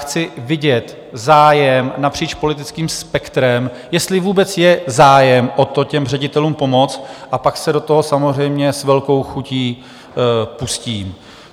Chci vidět zájem napříč politickým spektrem, jestli vůbec je zájem o to těm ředitelům pomoct, a pak se do toho samozřejmě s velkou chutí pustím.